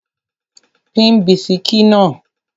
Pín bisikí náà!